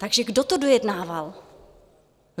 Takže kdo to dojednával?